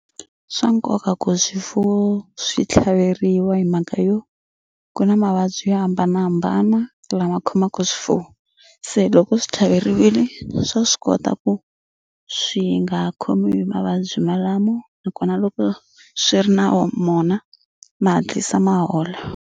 Swa nkoka ku swifuwo swi tlhaveriwa hi mhaka yo ku na mavabyi yo hambanahambana lama khomaku swifuwo se loko swi tlhaveriwile swa swi kota ku swi nga khomiwi hi mavabyi malamo nakona loko swi ri na mona ma hatlisa ma hola.